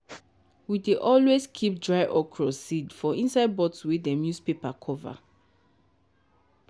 we dey always keep dry okra seed for inside bottle wey dem use paper cover.